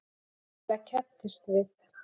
Lilla kepptist við.